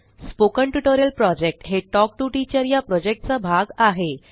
spoken tutorial project हे talk to teacher या project चा भाग आहे